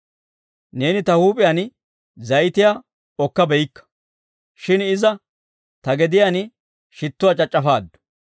Neeni ta huup'iyaan zayitiyaa okka beykka; shin iza ta gediyaan shittuwaa c'ac'c'afaaddu.